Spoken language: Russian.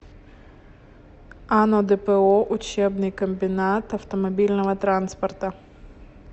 ано дпо учебный комбинат автомобильного транспорта